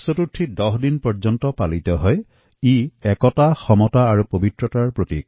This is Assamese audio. তদুপৰি স্বাধীনতা লাভৰ পাছত এই উৎসৱে সমাজ শিক্ষা সামাজিক চেতনা বিকাশৰ এক প্ৰতীক হিচাপে মৰ্যাদা লাভ কৰে